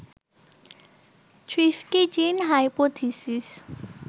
thrifty gene hypothesis